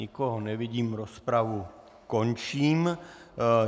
Nikoho nevidím, rozpravu končím.